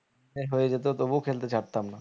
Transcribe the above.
হয়ে যেত তবুও খেলতে ছাড়তাম না